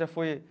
Já foi